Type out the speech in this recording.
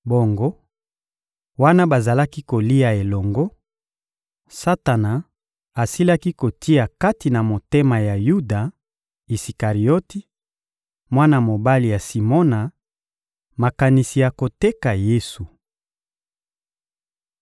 Bongo, wana bazalaki kolia elongo, Satana asilaki kotia kati na motema ya Yuda Isikarioti, mwana mobali ya Simona, makanisi ya koteka Yesu.